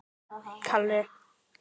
Dugði ekkert minna.